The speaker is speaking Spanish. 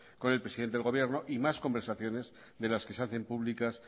con el presidente del gobierno y más conversaciones de las que se hacen públicas